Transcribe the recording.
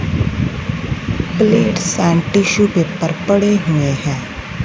Plates and tissue paper पड़े हुए हैं।